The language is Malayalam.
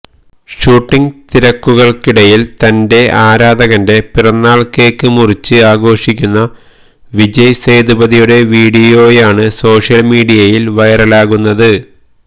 ഷൂട്ടിംഗ് തിരക്കുകള്ക്കിടയില് തന്റെ ആരാധകന്റെ പിറന്നാള് കേക്ക് മുറിച്ച് ആഘോഷിക്കുന്ന വിജയ് സേതുപതിയുടെ വീഡിയോയാണ് സോഷ്യല് മീഡിയയില് വൈറലാകുന്നത്